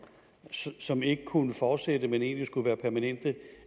ikke kunne fortsætte men egentlig skulle være permanente